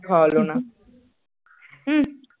খাওয়ালো না হুম